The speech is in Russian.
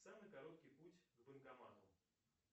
самый короткий путь к банкомату